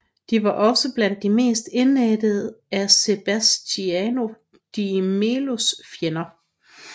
De var også blandt de mest indædte af Sebastião de Melos fjender